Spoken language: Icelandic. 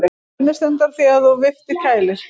Hvernig stendur á því að vifta kælir?